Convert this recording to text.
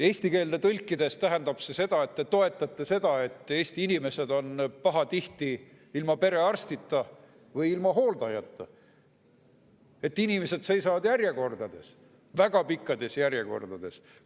Eesti keelde tõlkides tähendab see, et te toetate seda, et Eesti inimesed on pahatihti ilma perearstita või ilma hooldajata, et inimesed seisavad järjekordades, väga pikkades järjekordades.